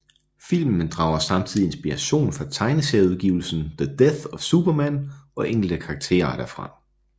Filmen drager samtidig inspiration fra tegneserieudgivelsen The Death of Superman og enkelte karakterer derfra